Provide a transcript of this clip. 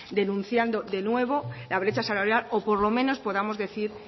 denunciando de nuevo la brecha salarial o por lo menos podamos decir